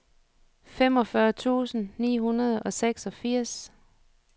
femogfyrre tusind ni hundrede og seksogfirs